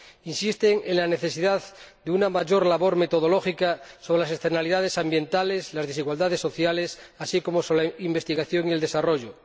Insisten en la necesidad de una mayor labor metodológica sobre las externalidades ambientales y las desigualdades sociales, así como sobre la investigación y el desarrollo.